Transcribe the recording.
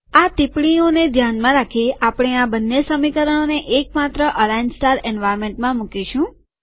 આ ટીપ્પણીઓને ધ્યાનમાં રાખીઆપણે આ બંને સમીકરણોને એક માત્ર અલાઈન સ્ટાર એન્વાર્નમેન્ટમાં મુકીશું